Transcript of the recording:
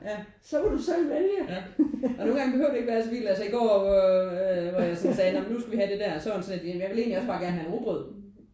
Ja ja og nogen gange behøver det ikke være så vildt altså i går øh hvor jeg sådan sagde: Når men nu skal vi have det der. Så var han sådan lidt: Ja men jeg vil egentlig også gerne bare have en rugbrød